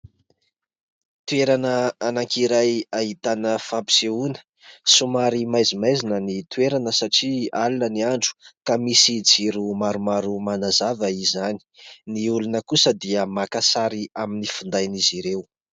Toerana anankiray ahitana fampisehoana, somary maizimaizina ny toerana satria alina ny andro ka misy jiro maromaro manazava izany. Ny olona kosa dia maka sary aminy finday an'izy ireo.